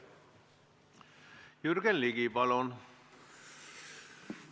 Jürgen Ligi, palun!